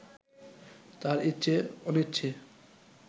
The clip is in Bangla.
তার ইচ্ছে অনিচ্ছে